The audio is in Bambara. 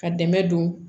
Ka dɛmɛ don